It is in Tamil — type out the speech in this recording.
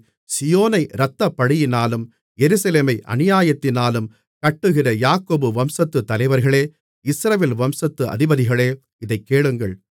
சீயோனை இரத்தப்பழியினாலும் எருசலேமை அநியாயத்தினாலும் கட்டுகிற யாக்கோபு வம்சத்துத் தலைவர்களே இஸ்ரவேல் வம்சத்து அதிபதிகளே இதைக் கேளுங்கள்